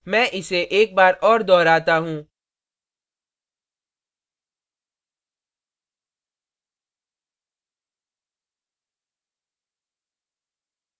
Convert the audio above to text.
मैं इसे एक बार और दोहराता हूँ